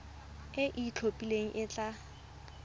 e e itlhophileng e tla